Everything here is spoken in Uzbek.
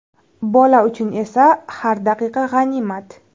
Bola uchun esa har daqiqa g‘animat.